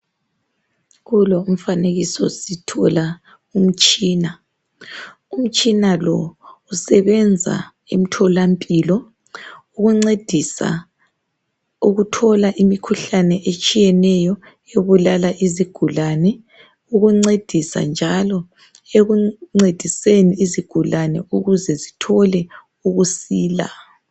Kulo umfanekiso sithola umtshina. Umtshina lo usebenza emtholampilo ukuncedisa ukuthola imkhuhlane etshiyeneyo ebulala izigulane, ukuncedisa njalo ukuncediseni izigulane ukuze zithole ukusila.